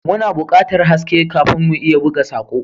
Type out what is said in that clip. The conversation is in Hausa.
Muna buƙatar haske kafin mu iya buga sako.